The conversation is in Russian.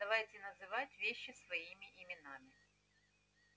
давайте называть вещи своими именами